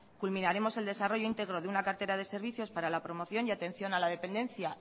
culminaremos el desarrollo integro de una cartera de servicios para la promoción y atención a la dependencia